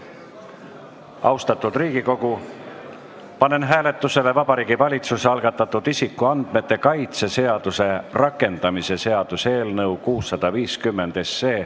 Austatud Riigikogu, panen hääletusele Vabariigi Valitsuse algatatud isikuandmete kaitse seaduse rakendamise seaduse eelnõu 650.